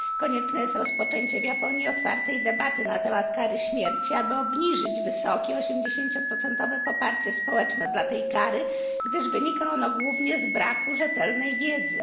Konieczne jest rozpoczęcie w Japonii otwartej debaty na temat kary śmierci, aby obniżyć wysokie, 80 procentowe poparcie społeczne dla tej kary, gdyż wynika ono głównie z braku rzetelnej wiedzy.